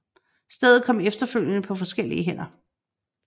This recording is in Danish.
Stedet kom efterfølgende på forskellige hænder